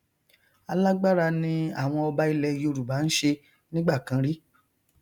alágbára ni àwọn ọba ilẹ yorùbá nṣe nígbàkan rí